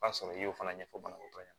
O b'a sɔrɔ i y'o fana ɲɛfɔ banabaatɔ ɲɛ